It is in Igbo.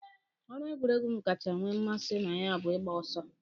Ọrụ egwuregwu m kacha nwee mmasị na ya bụ ịgba ọsọ.